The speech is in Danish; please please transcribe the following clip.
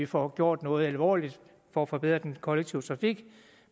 får gjort noget alvorligt for at forbedre den kollektive trafik